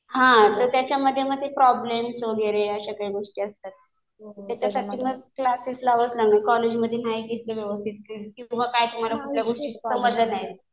हा तर त्याच्यामध्ये मग ते प्रॉब्लेम्स वगैरे अशा काही गोष्टी असतात. त्याच्यासाठी मग क्लासेस लावावेच लागणार. कॉलेज मध्ये नाही घेत ते व्यवस्थित. किंवा काय कुठल्या गोष्टी समजल्या नाहीत.